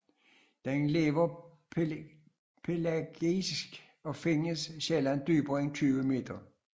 Den lever pelagisk og findes sjældent dybere end 20 meter